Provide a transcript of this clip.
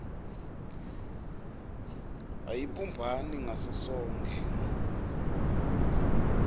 ayibumbani ngaso sonkhe